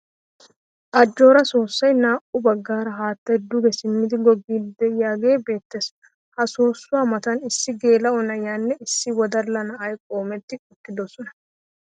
Ajjooraa soossoy naa"u baggaara haattay duge simmidi goggiiddi de'iyagee beettees. Ha soossuwa matan issi geela'o na'iyanne issi wodalla na'ay qoometti uttidosona.